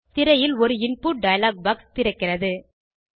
திரையில் ஒரு input dialog box திறக்கிறது